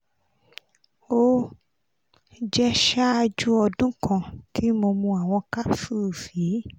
o jẹ ṣaaju ọdun kan ti mo mu awọn capsules yii